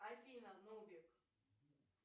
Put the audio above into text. афина нубик